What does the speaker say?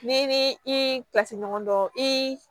N'i ni i ka se ɲɔgɔn dɔn i